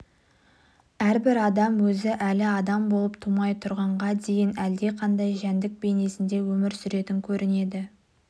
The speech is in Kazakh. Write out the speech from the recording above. әрбір адам өзі әлі адам болып тумай тұрғанға дейін әлдеқандай жәндік бейнесінде өмір сүретін көрінеді